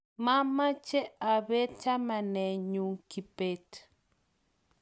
mameche abeet chamanenyu Kibet